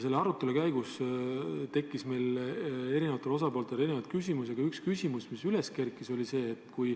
Selle arutelu käigus tekkis eri osapooltel erinevaid küsimusi ja üks küsimus oli selline.